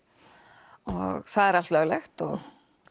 og það er allt löglegt og